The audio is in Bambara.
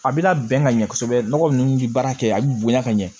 A bɛna bɛn ka ɲɛ kosɛbɛ nɔgɔ nunnu bi baara kɛ a bi bonya ka ɲɛ